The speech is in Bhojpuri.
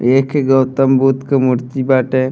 ये खे गौतम बुद्ध के मूर्ति बाटे।